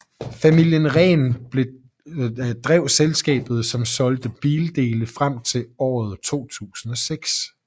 Familien Rehn drev selskabet som solgte bildele frem til år 2006